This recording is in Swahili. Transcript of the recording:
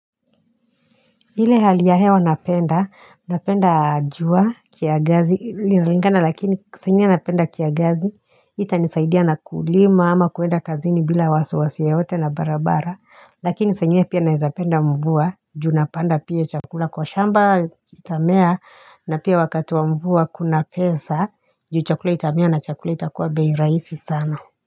Ile hali ya hewa napenda, napenda jua kiangazi, linalingana lakini saa ingine napenda kiangazi, hii itanisaidia na kulima ama kuenda kazini bila wasiwasi yoyote na barabara lakini saa ingine naweza penda mvua, juu napanda pia chakula kwa shamba itamea na pia wakati wa mvua kuna pesa, juu chakula itamea na chakula itakuwa bei rahisi sana.